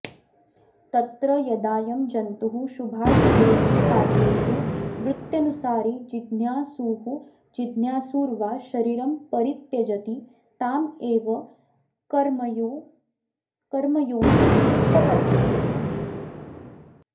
तत्र यदाऽयं जन्तुः शुभाशुभेषु कार्येषु वृत्त्यनुसारी जिज्ञासुरजिज्ञासुर्वा शरीरं परित्यजति तामेव कर्मयोनिमुपपद्यते